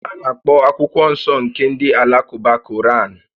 A na-akpọ akwụkwọ nsọ nke ndị Alakụba "Koraan"